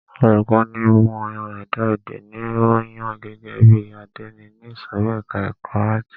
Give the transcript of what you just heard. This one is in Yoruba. Olùkọ́ni ìmọ ẹ̀dá èdè ni a yàn gẹ́gẹ́ bí àdénì ní ìsòrí ẹka ẹ̀kọ́ àátì.